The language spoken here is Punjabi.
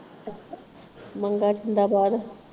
ਮੰਗਾ ਜਿੰਦਾਬਾਦ।